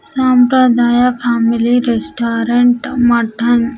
సాంప్రదాయ family restaurant mutton .